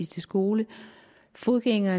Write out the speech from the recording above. til skole at fodgængere